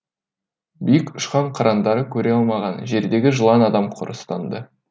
биік ұшқан қыранды көре алмаған жердегі жылан адам құрыстанды